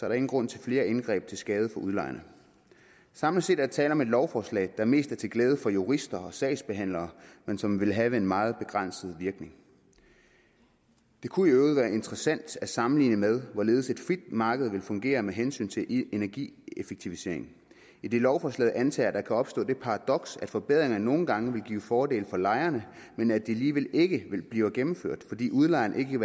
der ingen grund til flere indgreb til skade for udlejerne samlet set er der tale om et lovforslag der mest er til glæde for jurister og sagsbehandlere men som vil have en meget begrænset virkning det kunne i øvrigt være interessant at sammenligne det med hvorledes et frit marked vil fungere med hensyn til energieffektivisering idet lovforslaget antager at der kan opstå det paradoks at forbedringer nogle gange vil give fordele for lejerne men at de alligevel ikke bliver gennemført fordi udlejeren ikke